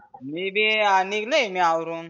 मी बी निघलोय मी आवरुण.